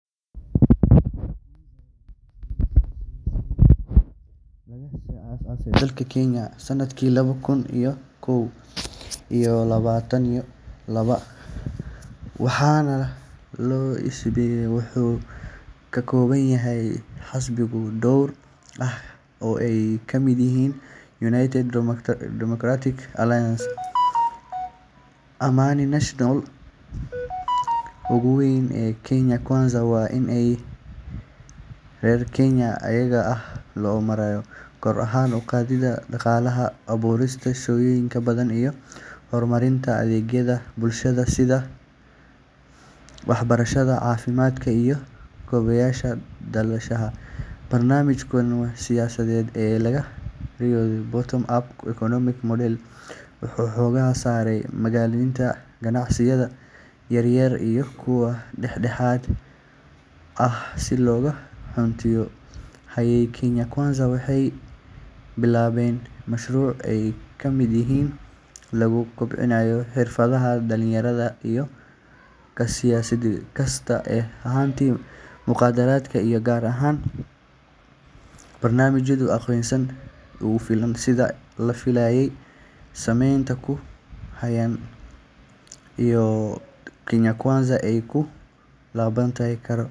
Kenya Kwanza waa isbaheysi siyaasadeed oo laga aasaasay dalka Kenya sanadkii laba kun iyo kow iyo labaataneeyo laba, waxaana hogaamiyo Madaxweyne William Ruto. Isbaheysigan wuxuu ka kooban yahay xisbiyo dhowr ah oo ay ka mid yihiin United Democratic Alliance, Amani National Congress, iyo Ford-Kenya. Ujeedada ugu weyn ee Kenya Kwanza waa in ay horumariso nolosha muwaadiniinta caadiga ah ee reer Kenya iyada oo loo marayo kor u qaadida dhaqaalaha, abuurista shaqooyin badan iyo horumarinta adeegyada bulshada sida waxbarashada, caafimaadka iyo kaabayaasha dhaqaalaha. Barnaamijkooda siyaasadeed ee la yiraahdo Bottom-Up Economic Model wuxuu xooga saarayaa maalgelinta ganacsiyada yaryar iyo kuwa dhexdhexaadka ah si loo gaarsiiyo kobac dhaqaale oo baahsan. Intii ay xukunka hayeen, Kenya Kwanza waxay bilaabeen mashruucyo ay ka mid yihiin kordhinta wax-soo-saarka beeraha, barnaamijyo lagu kobcinayo xirfadaha dhalinyarada iyo ka shaqaynta la-dagaalanka musuqmaasuqa. Si kastaba ha ahaatee, mucaaradka iyo qaar ka mid ah shacabka ayaa dhaleeceeyay in barnaamijyadu aysan u fulin sida la filayay, iyadoo sicir-bararka iyo shaqo la’aanta ay wali saameyn ku hayaan nolosha dadka. Waxaa weli socda dadaallo dowladda Kenya Kwanza ay ku dooneyso